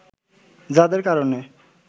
যাঁদের কারণে